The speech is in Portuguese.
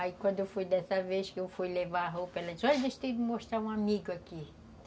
Aí quando foi dessa vez que eu fui levar a roupa, ela disse, ó, a gente tem que mostrar um amigo aqui.